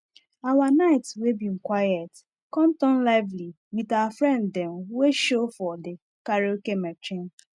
our night we been quiet come turn lively with our friend them wey show for the karaoke machine